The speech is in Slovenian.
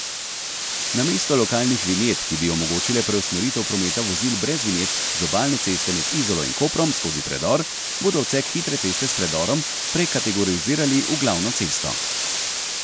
Namesto lokalnih vinjet, ki bi omogočile preusmeritev prometa vozil brez vinjet z obalne ceste med Izolo in Koprom skozi predor, bodo odsek hitre ceste s predorom prekategorizirali v glavno cesto.